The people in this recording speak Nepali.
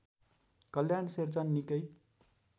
कल्याण शेरचन निकै